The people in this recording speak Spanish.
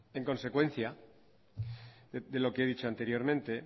en consecuencia de lo que he dicho anteriormente